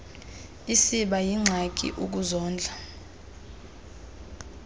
isiba yingxaki ukuzondla